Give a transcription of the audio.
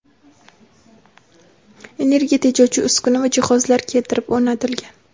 energiya tejovchi uskuna va jihozlar keltirib o‘rnatilgan.